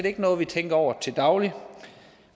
ikke noget vi tænker over til daglig